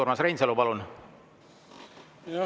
Urmas Reinsalu, palun!